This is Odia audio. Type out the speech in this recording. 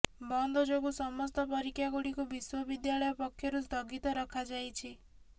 ବନ୍ଦ ଯୋଗୁ ସମସ୍ତ ପରୀକ୍ଷାଗୁଡ଼ିକୁ ବିଶ୍ୱବିଦ୍ୟାଳୟ ପକ୍ଷରୁ ସ୍ଥଗିତ ରଖାଯାଇଛି